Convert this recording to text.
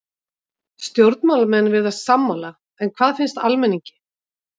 Stjórnmálamenn virðast sammála en hvað finnst almenningi?